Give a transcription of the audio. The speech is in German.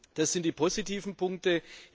Das sind die positiven Punkte.